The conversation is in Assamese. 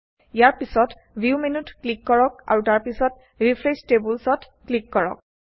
ইয়াৰ পিছত ভিউ মেনুত ক্লিক কৰক আৰু তাৰ পিছত ৰিফ্ৰেশ্ব টেবুলচ্ অত ক্লিক কৰক